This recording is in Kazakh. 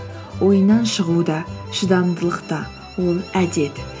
ойыннан шығу да шыдамдылық та ол әдет